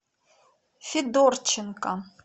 федорченко